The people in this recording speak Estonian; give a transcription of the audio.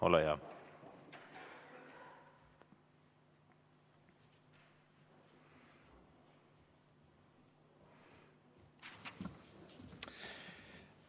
Ole hea!